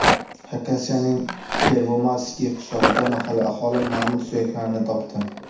Xakasiyaning Pervomayskiy qishlog‘ida mahalliy aholi mamont suyaklarini topdi.